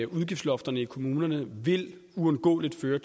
udgiftslofterne i kommunerne uundgåeligt vil